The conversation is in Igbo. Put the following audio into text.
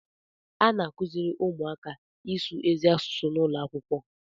A na-akụziri ụmụaka ịsụ ezi asụsụ n'ụlọ akwụkwọ